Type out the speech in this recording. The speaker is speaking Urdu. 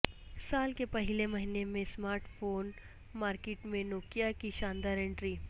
سال کے پہلے مہینے میں اسمارٹ فون مارکیٹ میں نوکیا کی شاندار انٹری